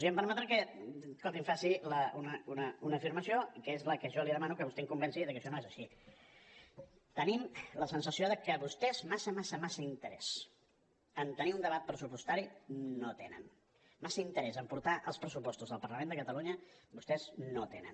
i em permetrà que els faci una afirmació que és la que jo li demano que vostè em convenci de que això no és així tenim la sensació de que vostès massa massa massa interès en tenir un debat pressupostari no en tenen massa interès en portar els pressupostos al parlament de catalunya vostès no en tenen